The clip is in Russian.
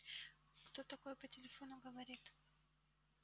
кто такое по телефону говорит